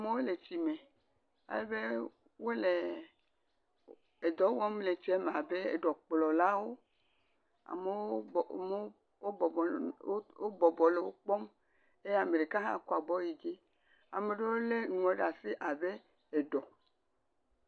Amewo le tsi me alebe wole edɔ wɔm le tsie me abe ɖɔkplɔlawo, amewo, amewo, wobɔbɔ amewo bɔbɔ le wo kpɔm. eye ame ɖeka hã kɔ abɔ yi dzi, ame ɖewo lé nuwo ɖe asi abe eɖɔ.